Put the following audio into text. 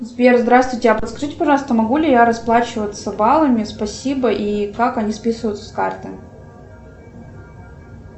сбер здравствуйте а подскажите пожалуйста могу ли я расплачиваться баллами спасибо и как они списываются с карты